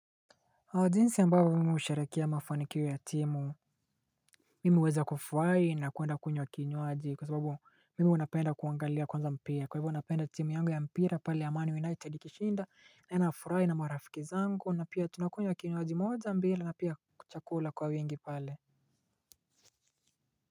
Jinsi ya mbaba mimi usharakia mafanikiwe ya timu, mimi huweza kufurahi na kuenda kunywa kinywaji kwa sababu mimi unapenda kuangalia kwanza mpia kwa hivyo unapenda timu yangu ya mpira pale ya Manu United kishinda na enafurai na mawarafiki zangu na pia tunakunywa kinyuaji moja mbili na pia kuchakula kwa wengi pale.